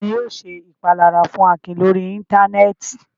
Ta ni yóò ṣe ìpalára fún Akin lórí Íńtánẹ́ẹ̀tì?